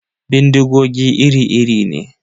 Bindigogi iri-iri ne.